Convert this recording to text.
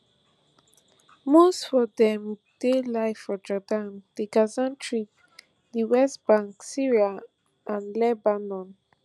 most fo dem dey live for jordan di gaza strip di west bank syria and lebanon